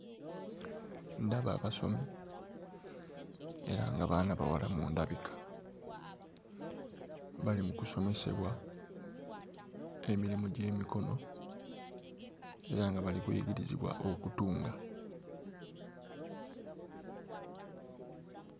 Ndaba abasomi era nga baana bawala mu ndabika bali mu kusomesebwa emirimu gy'emikono era nga bali mu kuyigirizibwa okutunga.